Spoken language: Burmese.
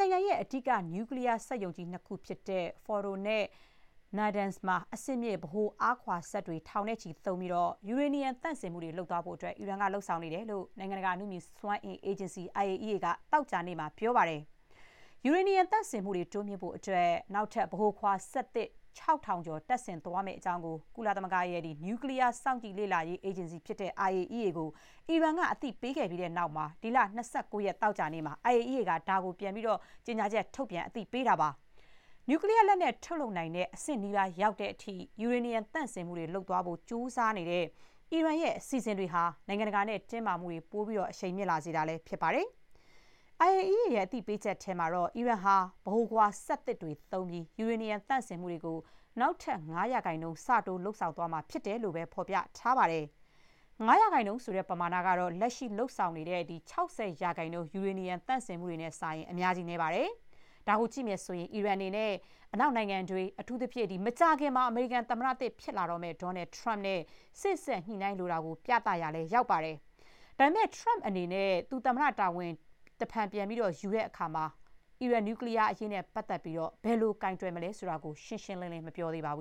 နိုင်ငံရဲ့ အဓိက နျူကလီးယား စက်ရုံကြီးနှစ်ခုဖြစ်တဲ့ Fordo နဲ့ Natanz မှာ အဆင့်မြင့် ဗဟိုအားခွာစက်တွေ ထောင်နဲ့ချီ သုံးပြီး ယူရေနီယံ သန့်စင်မှုတွေ လုပ်သွားဖို့ အီရန်ကလုပ်နေတယ်လို့ နိုင်ငံတကာ အနုမြူစွမ်းအင် အေဂျင်စီ IAEA က သောကြာနေ့က ပြောပါတယ်။ ယူရေနီယံ သန့်စင်မှုတွေ တိုးမြှင့်ဖို့အတွက် နောက်ထပ် ဗဟိုခွာစက်သစ် ၆၀၀၀ ကျော် တပ်ဆင်သွားမယ့်အကြောင်းကို ကုလသမဂ္ဂရဲ့ နျူကလီးယား စောင့်ကြည့် လေ့လာရေး အေဂျင်စီ IAEA ကို အီရန်က အသိပေးခဲ့ပြီးတဲ့နောက် ဒီလ ၂၉ ရက် သောကြာနေ့မှာ IAEA က ဒါကို ကြေညာချက် ထုတ်ပြန် အသိပေးလိုက်တာပါ။ နျူကလီးယား လက်နက် ထုတ်လုပ်နိုင်တဲ့ အဆင့်နီးပါးရောက်တဲ့အထိ ယူရေနီယံ သန့်စင်မှုတွေ လုပ်သွားဖို့ကြိုးစားနေတဲ့ အီရန်ရဲ့ အစီအစဥ်တွေဟာ နိုင်ငံတကာနဲ့ တင်းမာမှုတွေ ပို အရှိန်မြင့်လာစေတာလည်း ဖြစ်ပါတယ်။ IAEA က အသိပေးချက်ထဲမှာတော့ အီရန်ဟာ ဗဟိုခွာစက်သစ်တွေ သုံးပြီး ယူရေနီယံ သန့်စင်မှုတွေကို နောက်ထပ် ၅ % ဆတိုး လုပ်သွားမှာ ဖြစ်တယ်လို့သာ ဖော်ပြထားပါတယ်။ ၅ % ဆိုတဲ့ ပမာဏကတော့ လက်ရှိ လုပ်ဆောင်နေတဲ့ ၆၀% ယူရေနီယံ သန့်စင်မှုတွေနဲ့စာရင် အများကြီး နည်းပါတယ်။ ဒါကိုကြည့်ရင် အီရန်အနေနဲ့ အနောက်နိုင်ငံတွေ၊ အထူးသဖြင့် မကြာခင် အမေရိကန်သမ္မတသစ် ဖြစ်လာမယ့် Donald Trump နဲ့ စေ့စပ်ညှိနှိုင်းလိုတာကို အချက်ပြရာလည်း ရောက်ပါတယ်။ ဒါပေမဲ့ Trump အနေနဲ့ သူ သမ္မတ တာဝန် တဖန်ပြန်ယူတဲ့အခါ အီရန်နျူကလီးယား အရေး ဘယ်လို ကိုင်တွယ်မလဲ ဆိုတာ ရှင်းရှင်းလင်းလင်း မသိရသေးဘူ